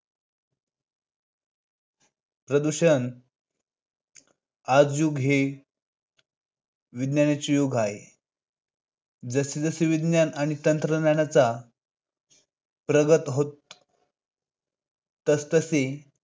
प्रदूषण. आजचे युग हे विज्ञानाचे युग आहे. जस-जसे विज्ञान आणि तंत्रज्ञान प्रगत होत आहे तसतसे